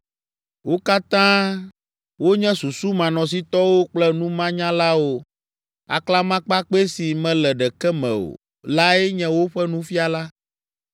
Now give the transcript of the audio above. Wo katã wonye susumanɔsitɔwo kple numanyalawo. Aklamakpakpɛ si mele ɖeke me o lae nye woƒe nufiala.